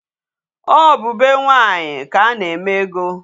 Ọ bụ be nwaanyị ka a na-eme ego.